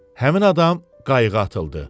Həmin adam qayığa atıldı.